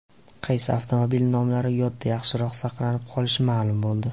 Qaysi avtomobil nomlari yodda yaxshiroq saqlanib qolishi ma’lum bo‘ldi.